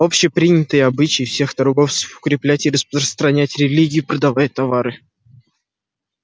общепринятый обычай всех торговцев укреплять и распространять религию продавая товары